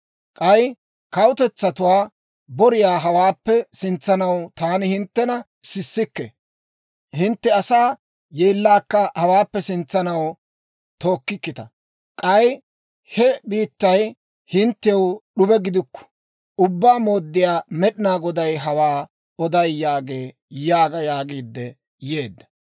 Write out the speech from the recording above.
K'ay kawutetsatuwaa boriyaa hawaappe sintsanaw taani hinttena sissikke; hintte asaa yeellaakka hawaappe sintsanaw tookkikkita; k'ay he biittay hinttew d'ube gidana. Ubbaa Mooddiyaa Med'inaa Goday hawaa oday yaagee› yaaga» yaagiidde yeedda.